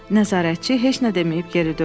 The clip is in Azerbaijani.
Nəzarətçi heç nə deməyib geri döndü.